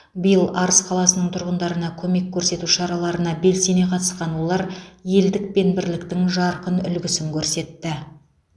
биыл арыс қаласының тұрғындарына көмек көрсету шараларына белсене қатысқан олар елдік пен бірліктің жарқын үлгісін көрсетті